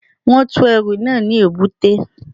Wọ́n tú ẹrù náà ní èbúté